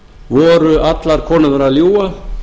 voru allar konurnar að ljúga